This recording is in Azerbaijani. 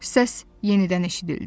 Səs yenidən eşidildi.